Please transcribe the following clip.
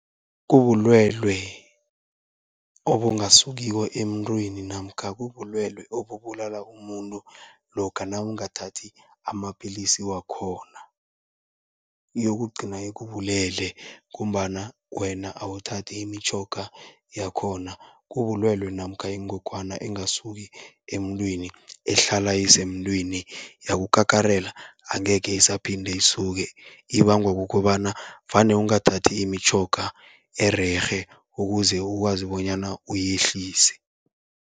Kubulwelwe obungasukiko emntwini namkha kubulwelwe obubulala umuntu, lokha nawungathathi amapilisi wakhona iyokugcina ikubulele, ngombana wena awuthathi imitjhoga yakhona. Kubulwelwe namkha ingogwana engasuki emntwini ehlala isemntwini, yakukakarela angekhe isaphinde isuke. Ibangwa kukobana vane ungathathi imitjhoga ererhe, ukuze ukwazi bonyana uyehlise.